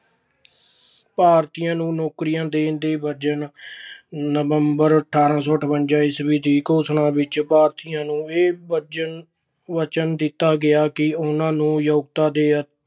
ਭਾਰਤੀਆਂ ਨੂੰ ਨੌਕਰੀਆਂ ਦੇਣ ਦੇ ਵਚਨ- ਨਵੰਬਰ, ਅਠਾਰਾਂ ਸੌ ਅਠਾਰਾਂ ਈਸਵੀ ਦੀ ਘੋਸ਼ਣਾ ਵਿੱਚ ਭਾਰਤੀਆਂ ਨੂੰ ਇਹ ਵਚਨ ਦਿੱਤਾ ਗਿਆ ਕਿ ਉਹਨਾਂ ਨੂੰ ਯੋਗਤਾ ਦੇ